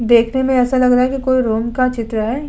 देखने में ऐसा लग रहा है कि कोई रूम का चित्र है।